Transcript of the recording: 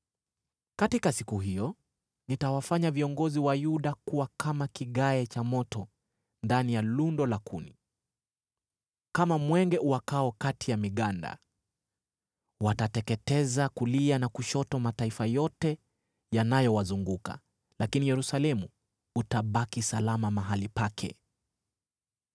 “Katika siku hiyo nitawafanya viongozi wa Yuda kuwa kama kigae cha moto ndani ya lundo la kuni, kama mwenge uwakao kati ya miganda. Watateketeza kulia na kushoto mataifa yote yanayowazunguka, lakini Yerusalemu utabaki salama mahali pake.